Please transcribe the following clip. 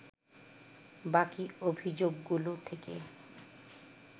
বাকি অভিযোগগুলো থেকে